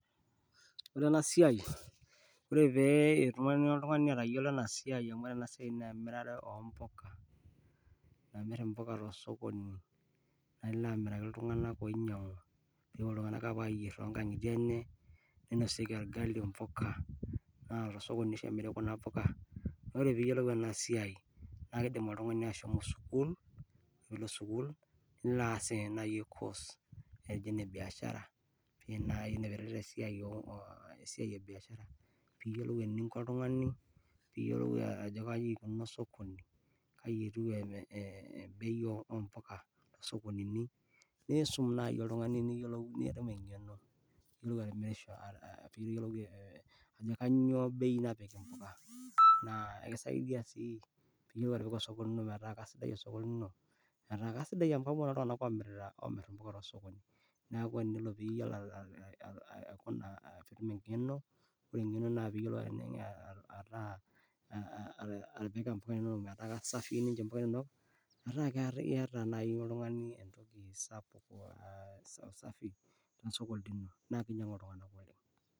Ore ena siai, ore peetumoki oltungani atayiolo enasiai amu ore ena siaai na emirare ompuka, amir mpuka tosokoni, amiraki ltunganak oinyangu nitoki ltunganak apuo ayier toonkajijik ,neinosieki orgali ompuka, ainosie kuna puka, ore peiyolou ena siaai na kidim oltungani ashomo sukul, nilo aas ena course naji enebiashara nai naipirare esiai e biashara peiyolou oltungani ajo kaikunoni osokoni e e kaikununo bei o mpuka, nisum nai oltungani niyiolou ee ee ajo kanyio bei napiki mpuka, peyiolou atipika osokoni lino neaku kesidai atipika osokoni, neaku eniyiolo atipika engeno aa aa atipika mpuka inonok metaa kasafii metaa iyata nai oltungani mpuka safii.